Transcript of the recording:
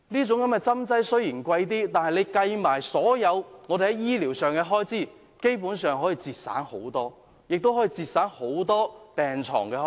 雖然針劑較為昂貴，但計及所有醫療開支，其實可以節省很多金錢，亦可以節省很多病床的開支。